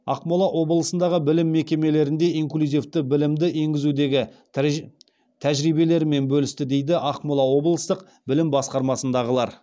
ақмола облысындағы білім мекемелерінде инклюзивті білімді енгізудегі тәжірибелерімен бөлісті дейді ақмола облыстық білім басқармасындағылар